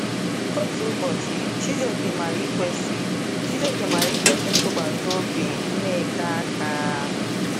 Otu ụbọchị, Chijioke mara ikwesị Chijioke mara ikwesị ntụkwasị obi Nneka aka.